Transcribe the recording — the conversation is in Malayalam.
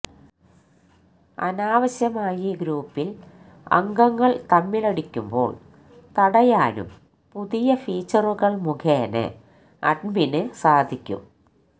അനാവശ്യമായി ഗ്രൂപ്പില് അംഗങ്ങള് തമ്മിലടിക്കുമ്ബോള് തടയാനും പുതിയ ഫീച്ചറുകള് മുഖേന അഡ്മിന് സാധിക്കും